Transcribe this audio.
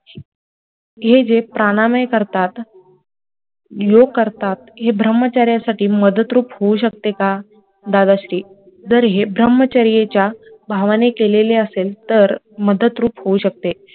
हे जे प्राणमय करतात, योग करतात हे ब्रम्हचर्यासाठी मदत रूप होऊ शकते का, दादाश्री, जर हे ब्रम्हचार्याच्या भावाने केलेले असेल तर मदतरूप होऊ शकते